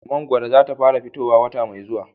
Mangwaro za ta fara fitowa wata mai zuwa